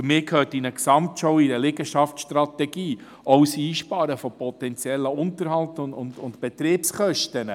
Für mich gehört in eine Gesamtschau, in eine Liegenschaftsstrategie, auch das Einsparen von potenziellen Unterhalts- und Betriebskosten.